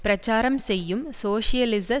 பிரச்சாரம் செய்யும் சோசியலிச